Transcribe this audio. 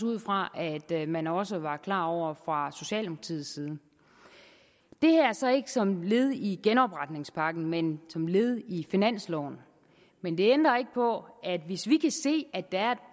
ud fra at man også var klar over fra socialdemokratiets side det her er så ikke som led i genopretningspakken men som led i finansloven men det ændrer ikke på at hvis vi kan se at der er